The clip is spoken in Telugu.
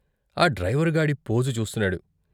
ఆ డ్రైవరుగాడి పోజు చూస్తున్నాడు.